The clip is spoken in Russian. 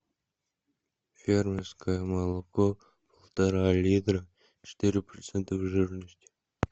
фермерское молоко полтора литра четыре процента жирности